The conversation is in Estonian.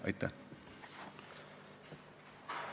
Aitäh!